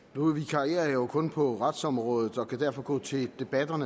nu vikarierer jeg jo kun på retsområdet og kan derfor gå til debatten